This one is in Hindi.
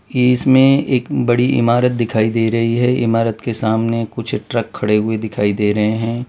इसमें एक बड़ी इमारत दिखाई दे रही है। इमारत के सामने कुछ ट्रक खड़े हुए दिखाई दे रहे हैं।